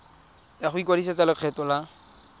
ya go ikwadisetsa lekgetho la